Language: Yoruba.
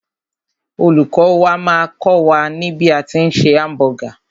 Olùkọ́ wà máà kọ́ wà ní bí a tí ń se hamburger.